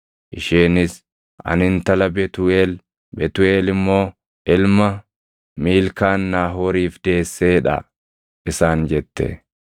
Isheenis, “Ani intala Betuuʼeel; Betuuʼeel immoo ilma Miilkaan Naahooriif deessee dha” isaan jette.